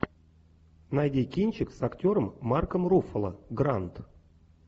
найди кинчик с актером марком руффало гранд